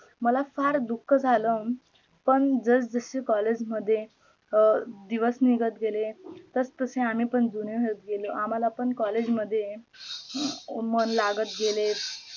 मला फार दुखः झाला पण जस जशे collage मध्ये दिवस निघत केले तस तसे आम्ही पण जुने होत गेलो, आम्हाला पण collage मध्ये मन लागत गेले